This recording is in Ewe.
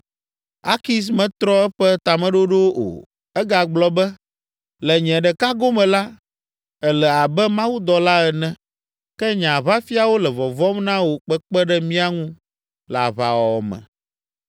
Akis metrɔ eƒe tameɖoɖo o. Egagblɔ be, “Le nye ɖeka gome la, èle abe mawudɔla ene, ke nye aʋafiawo le vɔvɔ̃m na wò kpekpe ɖe mía ŋu le aʋawɔwɔ me.